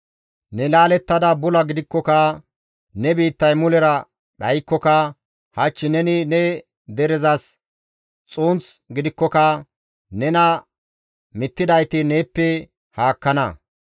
«Ne laalettada bula gidikkoka, ne biittay mulera dhaykkoka, hach neni ne derezas xunth gidikkoka, nena mittidayti neeppe haakkana.